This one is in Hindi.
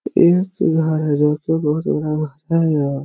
एक घर है जो की बहुत बड़ा है यह--